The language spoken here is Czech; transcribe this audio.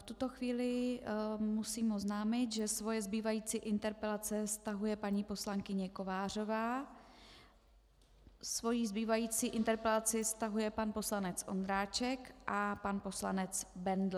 V tuto chvíli musím oznámit, že svoje zbývající interpelace stahuje paní poslankyně Kovářová, svoji zbývající interpelaci stahuje pan poslanec Ondráček a pan poslanec Bendl.